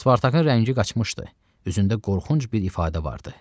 Spartakın rəngi qaçmışdı, üzündə qorxunc bir ifadə vardı.